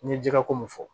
N ye jɛgɛ ko mun fɔ